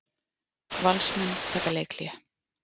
Valsmenn taka leikhlé